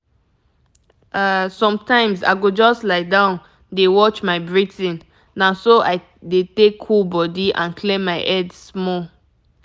ah sometimes i go just lie down dey watch my breathing na so i dey take cool body and clear my head small.